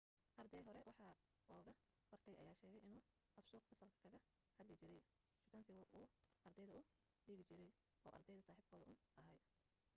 arday hore wax uga bartay ayaa sheegay inuu af suuq fasalka kaga hadli jiray shukaansiga uu ardayda u dhigi jiray oo ardayda saaxiibkood uun ahaa